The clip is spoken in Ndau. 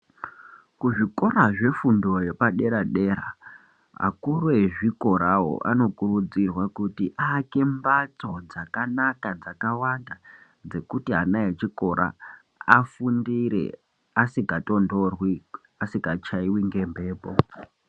Ku zvikora zve fundo yepa dera dera akuru ezvikorawo anokurudzirwa kuti aake mbatso dzakanaka dzaka wanda dzekuti ana echikora afundire asinga tondorwi asika chaiwi nge mhepo.